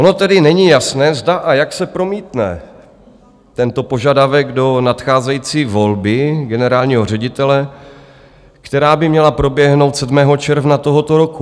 Ono tedy není jasné, zda a jak se promítne tento požadavek do nadcházející volby generálního ředitele, která by měla proběhnout 7. června tohoto roku.